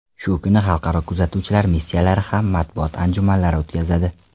Shu kuni xalqaro kuzatuvchilar missiyalari ham matbuot anjumanlari o‘tkazadi.